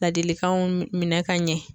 Ladilikanw minɛ ka ɲɛ